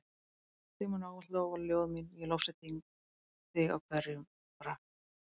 Þig munu ávallt lofa ljóð mín ég lofsyng þig í hverjum brag.